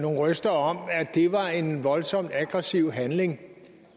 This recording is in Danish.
røster om at det var en voldsomt aggressiv handling